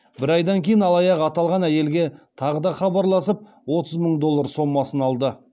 бір айдан кейін алаяқ аталған әйелге тағы да хабарласып отыз мың доллар сомасын алды